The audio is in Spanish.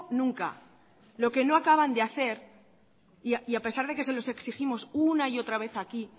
nunca lo que no acaban de hacer y a pesar de que se los exigimos una y otra vez aquí